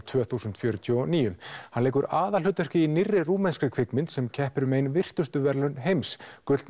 tvö þúsund fjörutíu og níu hann leikur aðalhlutverkið í nýrri rúmenskri kvikmynd sem keppir um ein virtustu verðlaun heims gullna